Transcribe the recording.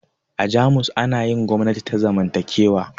A jamus ana yin gwamnati ta zamantakewa